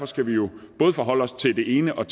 skal jo både forholde os til det ene og